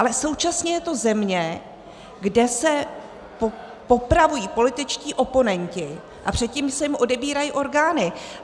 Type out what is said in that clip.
Ale současně je to země, kde se popravují političtí oponenti a předtím se jim odebírají orgány.